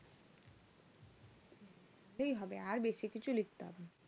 ওটাতেই হবে আর বেশি কিছু লিখতে হবেনা